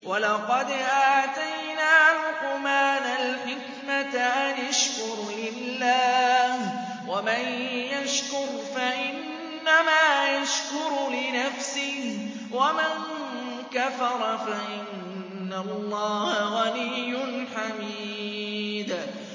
وَلَقَدْ آتَيْنَا لُقْمَانَ الْحِكْمَةَ أَنِ اشْكُرْ لِلَّهِ ۚ وَمَن يَشْكُرْ فَإِنَّمَا يَشْكُرُ لِنَفْسِهِ ۖ وَمَن كَفَرَ فَإِنَّ اللَّهَ غَنِيٌّ حَمِيدٌ